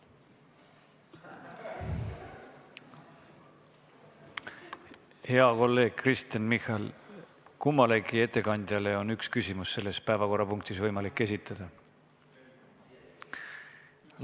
Hea kolleeg Kristen Michal, kummalegi ettekandjale on üks küsimus võimalik selles päevakorrapunktis esitada.